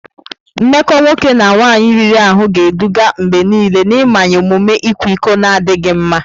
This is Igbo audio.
Mmekọ nwoke na nwaanyị riri ahụ ga-eduga mgbe niile n'mmanye omume ịkwa iko na adịghị mma.